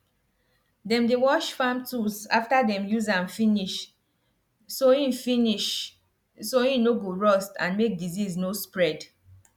dem dey wash farm tools after dem use am finish so hin finish so hin no go rust and make disease no spread